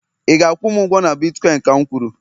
ị ga-akwụ m ụgwọ na bitkọịn ka'm kwuru!